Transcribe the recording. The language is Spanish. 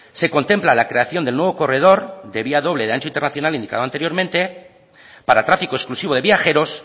se contempla la creación del nuevo corredor de vía doble de ancho internacional indicado anteriormente para trafico exclusivo de viajeros